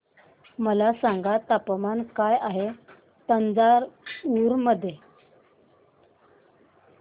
मला सांगा तापमान काय आहे तंजावूर मध्ये